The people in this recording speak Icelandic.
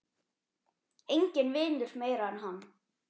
Enginn vinnur meira en hann.